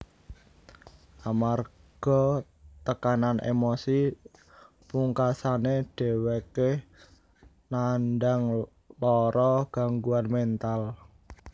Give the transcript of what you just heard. Amarga tekanan emosi pungkasane dhèwèké nandang lara gangguan méntal